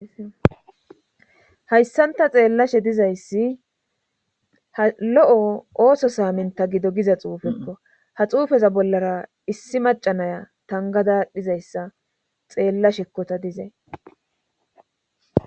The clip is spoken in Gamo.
Hayssanta xeellashe dizayssi ha lo7o ooso saaminta gido giza xuufekko ha xuufeza bollara issi macanaya tangada dhizayssa xeella shekkota dizey.